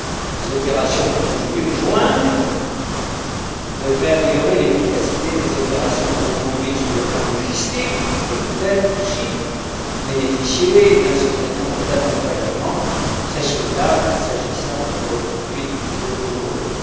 Ces opérations conjointes devraient améliorer l'efficacité des opérations de reconduite sur le plan logistique et peut être aussi bénéficier d'un certain nombre d'accompagnements très souhaitables, s'agissant de reconduites toujours douloureuses.